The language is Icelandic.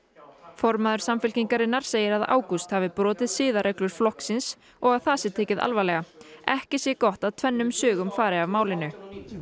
formaður Samfylkingarinnar segir að Ágúst hafi brotið siðareglur flokksins og það sé tekið alvarlega ekki sé gott að tvennum sögum fari af málinu